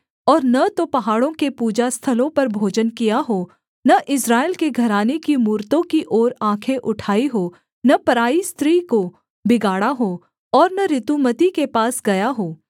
और न तो पहाड़ों के पूजा स्थलों पर भोजन किया हो न इस्राएल के घराने की मूरतों की ओर आँखें उठाई हों न पराई स्त्री को बिगाड़ा हो और न ऋतुमती के पास गया हो